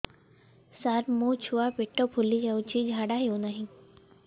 ସାର ମୋ ଛୁଆ ପେଟ ଫୁଲି ଯାଉଛି ଝାଡ଼ା ହେଉନାହିଁ